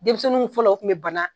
Denmisɛnninw fɔlɔ u kun bɛ bana.